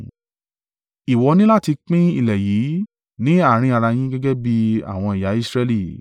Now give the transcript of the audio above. “Ìwọ ní láti pín ilẹ̀ yìí ní àárín ara yín gẹ́gẹ́ bí àwọn ẹ̀yà Israẹli.